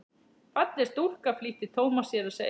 Falleg stúlka flýtti Thomas sér að segja.